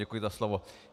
Děkuji za slovo.